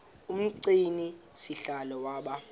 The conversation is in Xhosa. umgcini sihlalo waba